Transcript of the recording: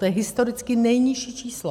To je historicky nejnižší číslo.